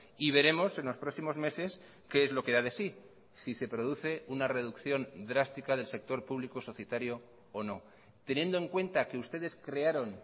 y veremos en los próximos meses qué es lo que da de sí si se produce una reducción drástica del sector público societario o no teniendo en cuenta que ustedes crearon